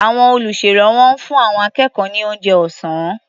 Àwọn olùṣèrànwọ́ ń fún àwọn akẹ́kọ̀ọ́ ní oúnjẹ ọ̀sá́n.